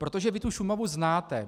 Protože vy tu Šumavu znáte.